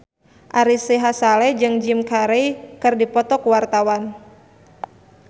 Ari Sihasale jeung Jim Carey keur dipoto ku wartawan